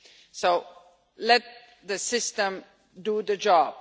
So let the system do the job.